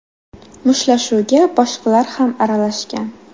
Mushtlashuvga boshqalar ham aralashgan.